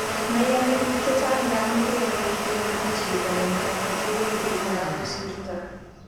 maiyani pik che chang ngamu kere kumuti chito nemyandi ngeweku kokakosirto